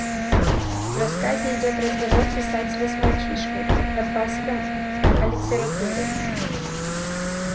в рассказе идёт разговор писателя с мальчишкой подпаском о литературе